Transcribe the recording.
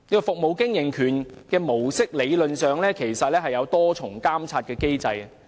"服務經營權"模式理論上設有多重監察機制。